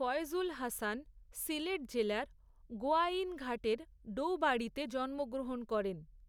ফয়জুল হাসান, সিলেট জেলার গোয়াইনঘাটের ডৌবাড়ীতে জন্মগ্রহণ করেন।